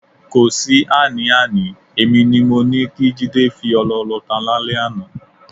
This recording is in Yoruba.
Kò sí àní-àní, èmi ni mo ní kí Jídé fi ọlọ lọta lálẹ́ àná.